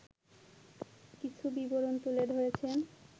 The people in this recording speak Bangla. কিছু বিবরণ তুলে ধরেছেন